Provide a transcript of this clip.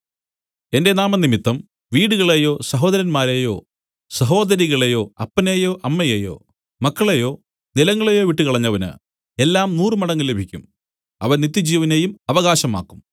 എന്റെ നാമംനിമിത്തം വീടുകളെയോ സഹോദരന്മാരെയോ സഹോദരികളെയോ അപ്പനെയോ അമ്മയെയോ മക്കളെയോ നിലങ്ങളെയോ വിട്ടു കളഞ്ഞവന് എല്ലാം നൂറുമടങ്ങ് ലഭിക്കും അവൻ നിത്യജീവനെയും അവകാശമാക്കും